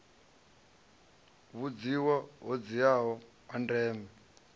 vhudzivha ho dziaho ha ndeme